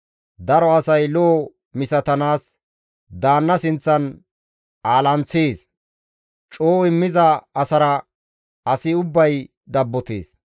Daro asay lo7o misatanaas daanna sinththan alaanththees; coo immiza asara asi ubbay dabbotees.